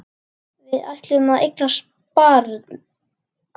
Við ætluðum að eignast barn.